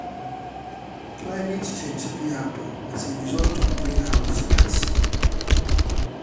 climate change fit happen as a result of green house gas